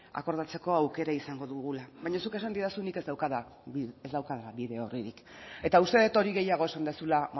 akordatzeko aukera izango dugula baina zuk esan didazu nik ez daukadala bide orririk eta uste dut hori gehiago esan duzula